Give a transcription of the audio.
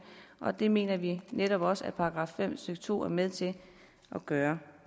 og det mener vi netop også § fem stykke to er med til at gøre